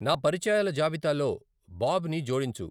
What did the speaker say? నా పరిచయాల జాబితాలో బాబ్ని జోడించు .